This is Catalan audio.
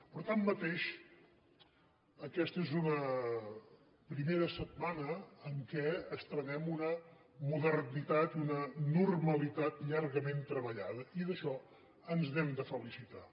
però tanmateix aquesta és una primera setmana en què estrenem una modernitat i una normalitat llargament treballada i d’això ens n’hem de felicitar